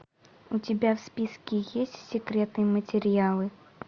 у тебя в списке есть секретные материалы